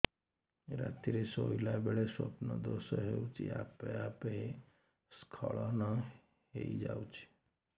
ରାତିରେ ଶୋଇଲା ବେଳେ ସ୍ବପ୍ନ ଦୋଷ ହେଉଛି ଆପେ ଆପେ ସ୍ଖଳନ ହେଇଯାଉଛି